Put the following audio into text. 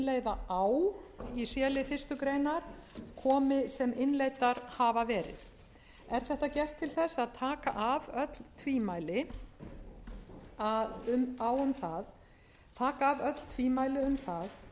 innleiða á í c lið fyrstu grein komi sem innleiddar hafa verið er þetta gert til þess að taka af öll tvímæli um það að ekki verður